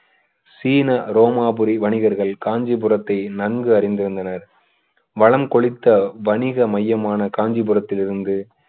சீன ரோமாபுரி வணிகர்கள் காஞ்சிபுரத்தை நன்கு அறிந்திருந்தனர் வளம் கொழித்த வணிக மையமான காஞ்சிபுரத்திலிருந்து